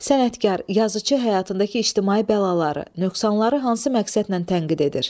Sənətkar yazıçı həyatındakı ictimai bəlaları, nöqsanları hansı məqsədlə tənqid edir?